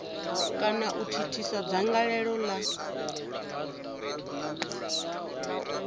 kana u thithisa dzangalelo la